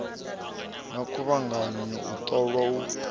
na khuvhanganyo u ṱolwa u